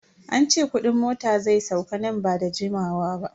An ce kudin mota zai sauka nan ba da jimawa ba.